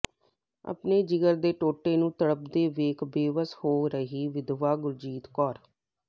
ਆਪਣੇ ਜਿਗਰ ਦੇ ਟੋਟੇ ਨੂੰ ਤੜਫਦੇ ਵੇਖ ਬੇਵੱਸ ਹੋਈ ਰਹੀ ਵਿਧਵਾ ਗੁਰਜੀਤ ਕੌਰ